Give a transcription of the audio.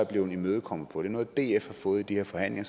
blevet imødekommet på det er noget df har fået i de her forhandlinger